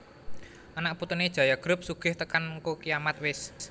Anak putune Jaya Group sugih tekan ngko kiamat wes